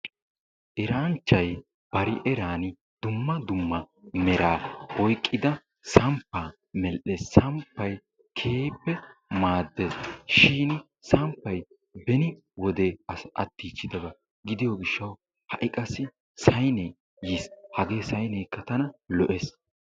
Eranchchay bari eran dumma dumma meraa oykkida samppaa medhdhees. Ha samppay keehippe maaddees. Shiini samppay beni wode. attiichchidaba gidiyo gishshawu saynee yiis. Saynee tana keehippe lo'ees.